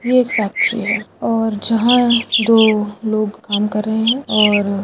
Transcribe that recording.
ये एक फैक्ट्री है और जहाँ यह दो लोग काम कर रहे है और --